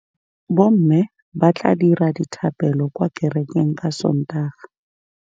Bommê ba tla dira dithapêlô kwa kerekeng ka Sontaga.